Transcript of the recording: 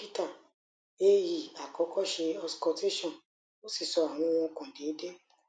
dokita a e akọkọ ṣe auscultation o si sọ awọn ohun ọkan deede